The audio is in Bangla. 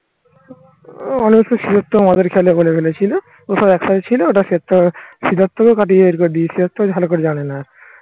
সিদ্ধার্থ মদের খেয়ালে বলে ফেলেছিলো ওসব একটাই ছিল সেটা সিদ্ধার্থ ও ভালো করে জানে না